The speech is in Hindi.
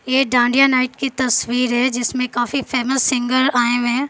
ये डांडिया नाइट की तस्वीर है जिसमें काफी फेमस सिंगर आए हुए हैं।